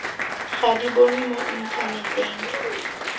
ga di bonwe mo inthaneteng